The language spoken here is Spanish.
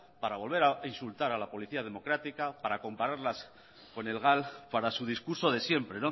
para volver a insultar a la policía democrática para compararlas con el gal para su discurso de siempre